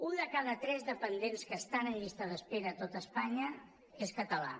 un de cada tres dependents que estan en llista d’espera a tot espanya és català